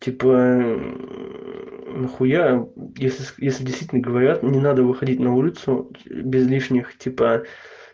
типа на хуя если действительно говорят не надо выходить на улицу без лишних типа